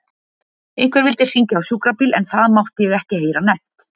Einhver vildi hringja á sjúkrabíl en það mátti ég ekki heyra nefnt.